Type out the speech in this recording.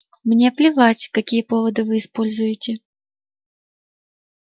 мне плевать какие поводы вы используете